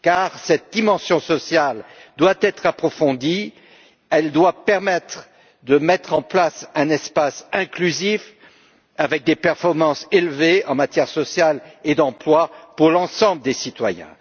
Car cette dimension sociale doit être approfondie, elle doit permettre de mettre en place un espace inclusif avec des performances élevées en matière sociale et d'emploi pour l'ensemble des citoyens.